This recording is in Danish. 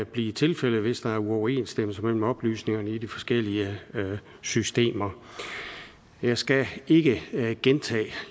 blive tilfældet hvis der er uoverensstemmelse mellem oplysningerne i de forskellige systemer jeg skal ikke gentage